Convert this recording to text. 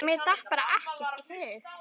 En mér datt bara ekkert í hug.